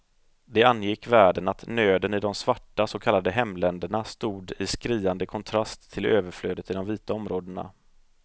Det angick världen att nöden i de svarta så kallade hemländerna stod i skriande kontrast till överflödet i de vita områdena.